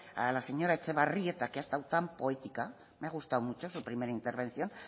a la señora etxebarrieta que ha estado tan poética me ha gustado mucho su primera intervención